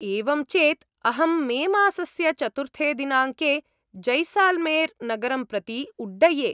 एवं चेत्, अहं मेमासस्य चतुर्थे दिनाङ्के जैसाल्मेर् नगरं प्रति उड्डये।